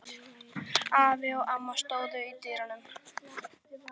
Afi og amma stóðu í dyrunum.